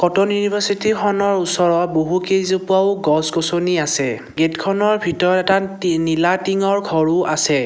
University খনৰ ওচৰত বহুকেইজোপাও গছ-গছনি আছে গেটখনৰ ভিতৰত এটা টি নীলা টিংৰ ঘৰো আছে।